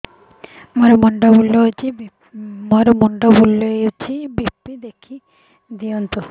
ମୋର ମୁଣ୍ଡ ବୁଲେଛି ବି.ପି ଦେଖି ଦିଅନ୍ତୁ